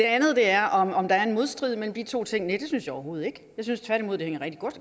andet er om hvorvidt der er en modstrid mellem de to ting det synes jeg overhovedet ikke jeg synes tværtimod at det hænger rigtig